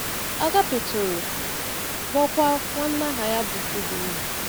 Agápé toro, lụọkwa nwanna aha ya bụ Obinna.